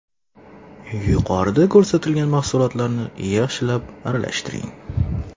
Yuqorida ko‘rsatilgan mahsulotlarni yaxshilab aralashtiring.